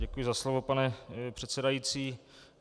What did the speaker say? Děkuji za slovo, pane předsedající.